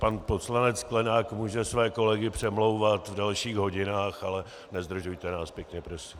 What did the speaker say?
Pan poslanec Sklenák může své kolegy přemlouvat v dalších hodinách, ale nezdržujte nás, pěkně prosím.